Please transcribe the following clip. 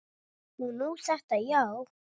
Og nú þetta, já.